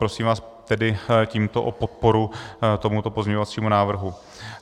Prosím vás tedy tímto o podporu tomuto pozměňovacímu návrhu.